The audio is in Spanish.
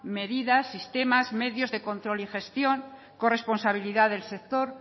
medidas sistemas medios de control y gestión corresponsabilidad del sector